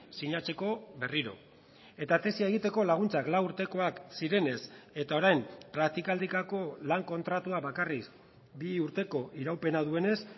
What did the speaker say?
sinatzeko berriro eta tesia egiteko laguntzak lau urtekoak zirenez eta orain praktikaldikako lan kontratua bakarrik bi urteko iraupena duenez